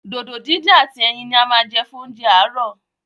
Dòdò díndín ati ẹyin ní a má jẹ́ fún oúnjẹ aarọ.